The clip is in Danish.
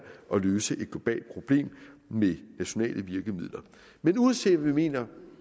at løse et globalt problem med nationale virkemidler men uanset hvad vi mener